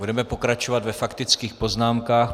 Budeme pokračovat ve faktických poznámkách.